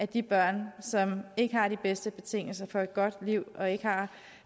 de børn som ikke har de bedste betingelser for et godt liv og ikke har